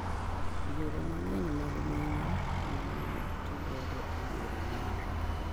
Yore mang'eny mag menyo ma nene oti godo e yore nonro